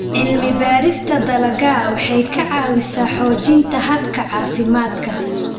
Cilmi-baarista dalagga waxay ka caawisaa xoojinta hababka caafimaadka.